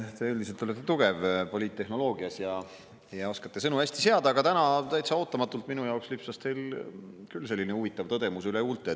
Te üldiselt olete poliittehnoloogias tugev ja oskate sõnu hästi seada, aga täna minu jaoks täitsa ootamatult lipsas teil küll huvitav tõdemus üle huulte.